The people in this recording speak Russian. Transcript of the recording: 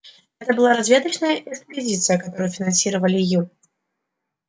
это была разведочная экспедиция которую финансировали ю